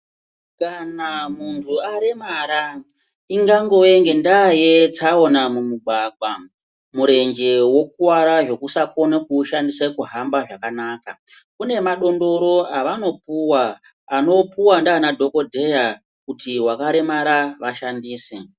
Kana muntu aremara, ingangove ngendaa yetsaona mumugwagwa, murenje wokuvara zvokusakone kuushandise kuhamba zvakanaka. Kune madondoro avanopuwa, anopuwa ndiana dhokodheya kuti vakaremara vashandise.